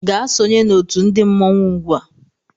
Gaa sonye na otu ndi mmọnwụ ugbu a!